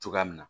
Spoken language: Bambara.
Cogoya min na